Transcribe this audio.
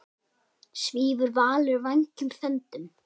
Svífur Valur vængjum þöndum?